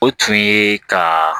O tun ye ka